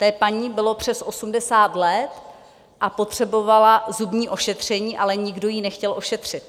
Té paní bylo přes 80 let a potřebovala zubní ošetření, ale nikdo ji nechtěl ošetřit.